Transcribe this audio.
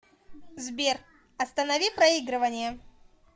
сбер останови проигрывание